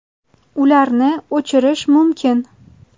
Ularni o‘chirish mumkin.